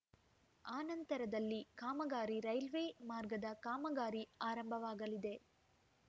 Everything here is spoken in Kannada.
ಆನಂತರದಲ್ಲಿ ಕಾಮಗಾರಿ ರೇಲ್ವೆ ಮಾರ್ಗದ ಕಾಮಗಾರಿ ಆರಂಭವಾಗಲಿದೆ